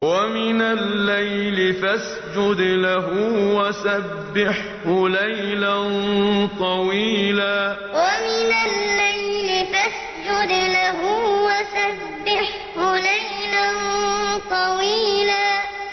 وَمِنَ اللَّيْلِ فَاسْجُدْ لَهُ وَسَبِّحْهُ لَيْلًا طَوِيلًا وَمِنَ اللَّيْلِ فَاسْجُدْ لَهُ وَسَبِّحْهُ لَيْلًا طَوِيلًا